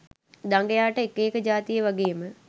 දඟයාට එක එක ජාතියේ වගේම